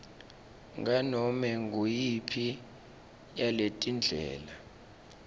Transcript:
nganome nguyiphi yaletindlela